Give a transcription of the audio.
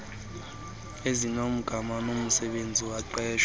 ezinegama nomsebenzi womqeshwa